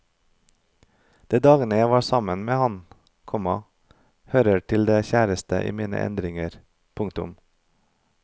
De dager jeg var sammen med ham, komma hører til de kjæreste i mine erindringer. punktum